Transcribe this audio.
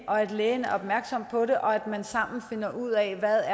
og at lægen er opmærksom på det og at man sammen finder ud af hvad